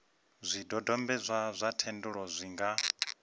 zwidodombedzwa zwa thendelo zwi nga